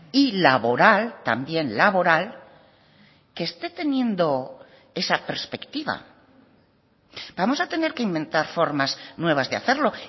y laboral también laboral que esté teniendo esa perspectiva vamos a tener que inventar formas nuevas de hacerlo